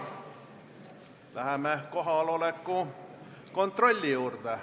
Läheme kohaloleku kontrolli juurde.